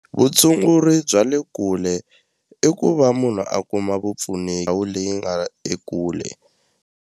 Vutshunguri bya le kule i ku va munhu a kuma ndhawu leyi nga ekule.